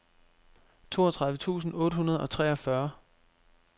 toogtredive tusind otte hundrede og treogfyrre